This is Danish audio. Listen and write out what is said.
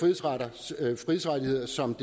frihedsrettigheder som